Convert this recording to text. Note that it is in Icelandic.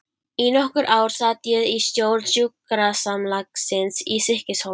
Í nokkur ár sat ég í stjórn sjúkrasamlagsins í Stykkishólmi.